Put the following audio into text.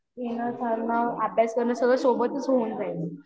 येणं जाणं अभ्यास करणे सगळं सोबतच होऊन जाईन